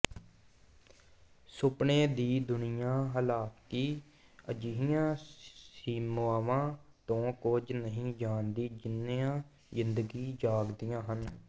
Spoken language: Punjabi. ਸੁਪਨੇ ਦੀ ਦੁਨੀਆਂ ਹਾਲਾਂਕਿ ਅਜਿਹੀਆਂ ਸੀਮਾਵਾਂ ਤੋਂ ਕੁਝ ਨਹੀਂ ਜਾਣਦੀ ਜਿੰਨੀਆਂ ਜ਼ਿੰਦਗੀ ਜਾਗਦੀਆਂ ਹਨ